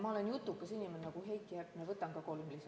Ma olen jutukas inimene nagu Heiki Hepner ja võtan ka kolm lisaminutit.